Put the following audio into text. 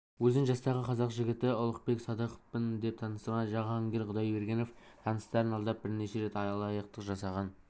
өзін жастағы қазақ жігіті ұлықбек садықовпын деп таныстырған жахангир құдайбергенов таныстарын алдап бірнеше рет алаяқтық жасаған